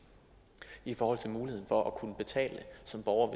i forhold til muligheden for at kunne betale som borger